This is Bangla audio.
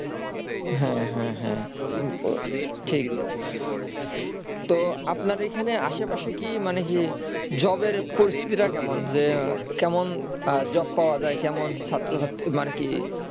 হে হে হে ঠিক তো আপনার এখানে কি আশেপাশে কি মানে কি job এর পরিস্থিতিটা কেমন যে কেমন job পাওয়া যায় যেমন ছাত্র ছাত্রী মানে কি